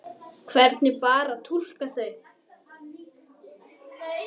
Dyrnar voru enn opnar.